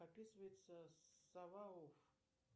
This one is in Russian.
описывается сова оф